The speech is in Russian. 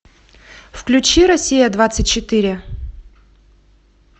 включи россия двадцать четыре